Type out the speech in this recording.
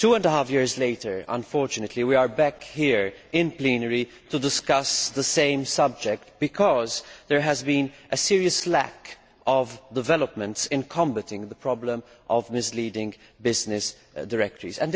Two and a half years later, unfortunately, we are back here in plenary to discuss the same subject because there has been a serious lack of action to combat the problem of misleading business directories.